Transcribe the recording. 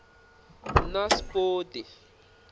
naspoti